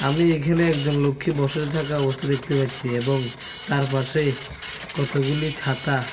আমি এখানে একজন লোককে বসে থাকা অবস্থায় দেখতে পাচ্ছি এবং তার পাশে কতগুলি ছাতা।